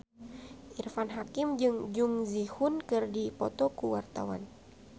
Irfan Hakim jeung Jung Ji Hoon keur dipoto ku wartawan